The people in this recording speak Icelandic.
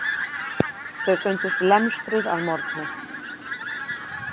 Þau fundust lemstruð að morgni.